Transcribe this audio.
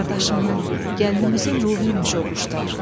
Qardaşının, gəlinimizin ruhu imiş o quşlar.